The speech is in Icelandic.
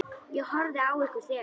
Ég horfði á ykkur þegar.